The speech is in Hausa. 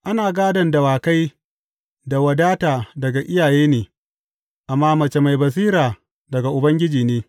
Ana gādon dawakai da wadata daga iyaye ne, amma mace mai basira daga Ubangiji ne.